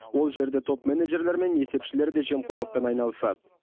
ол жерде топ менеджерлер мен есепшілер де жемқорлықпен айналысады